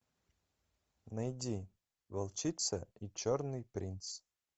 найди волчица и черный принц